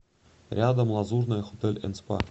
рядом лазурная хотель энд спа